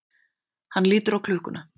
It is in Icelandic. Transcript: Hann lítur á klukkuna.